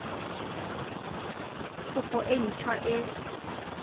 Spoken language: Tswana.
kopo e nt hwa e